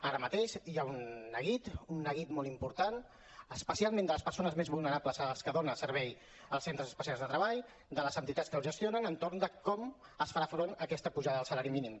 ara mateix hi ha un neguit un neguit molt important especialment de les persones més vulnerables a les que donen servei els centres especials de treball de les entitats que els gestionen entorn de com es farà front a aquesta pujada del salari mínim